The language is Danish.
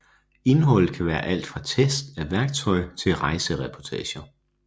Indholdet kan være alt fra tests af værktøj til rejsereportager